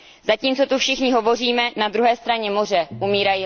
Zatímco tu všichni hovoříme, na druhé straně moře umírají lidé.